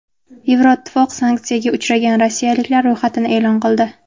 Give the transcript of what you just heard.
Yevroittifoq sanksiyaga uchragan rossiyaliklar ro‘yxatini e’lon qildi.